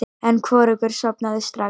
En hvorugur sofnaði strax.